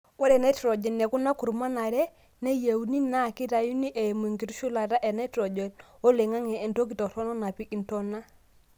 ore nitrogen ekuna kurman are nayieuni naa keitayuni eimu enkitushulata e nitrogen oloing'ang'e te ntoki toronok napik intona